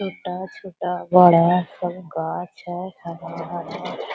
छोटा-छोटा बड़ा सब गच्छ है हरा-हरा।